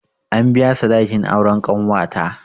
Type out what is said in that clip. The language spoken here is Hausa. An biya sadakin auren ƙanwata